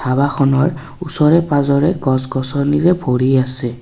ধবাখনৰ ওচৰে পাজৰে গছ গছনিৰে ভৰি আছে।